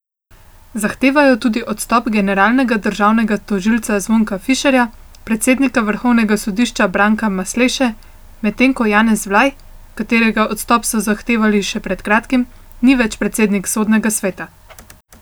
Zahtevajo tudi odstop generalnega državnega tožilca Zvonka Fišerja, predsednika vrhovnega sodišča Branka Masleše, medtem ko Janez Vlaj, katerega odstop so zahtevali še pred kratkim, ni več predsednik Sodnega sveta.